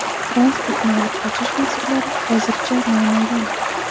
Transportni olib qochish motivlari hozircha noma’lum.